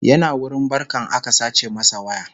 yana wurin barkan aka sace masa waya